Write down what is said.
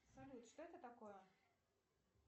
салют что это такое